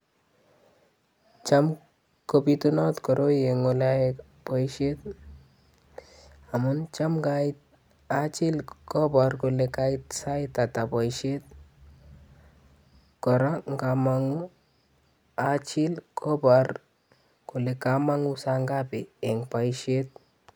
Cham kobitunat koroi eng olo yae boisiet amun cham ngait achiil kopar kole kait sait ata boisiet, kora ngamanguu achiil kobar kole kamanguu saa ngapi eng boisiet.